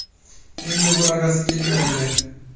Endi bunaqasi ketmaydi.